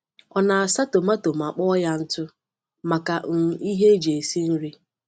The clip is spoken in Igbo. Ọ na-asa tomátọ ma kpụọ ya ntụ maka um ihe eji esi nri.